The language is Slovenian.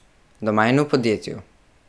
Doma in v podjetju.